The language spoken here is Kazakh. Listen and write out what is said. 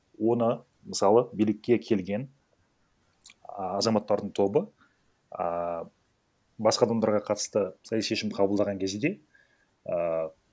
оны мысалы билікке келген ааа азаматтардың тобы а басқа адамдарға қатысты саяси шешім қабылдаған кезінде а